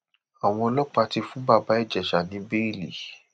àwọn ọlọpàá ti fún bàbá ìjẹsà ní bẹẹlì